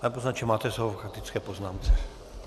Pane poslanče, máte slovo k faktické poznámce.